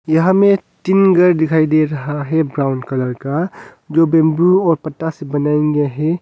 यहां में तीन घर दिखाई दे रहा है ब्राउन कलर का जो बंबू और पत्ता से बनाया गया है।